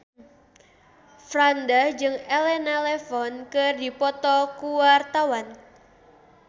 Franda jeung Elena Levon keur dipoto ku wartawan